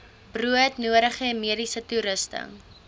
broodnodige mediese toerusting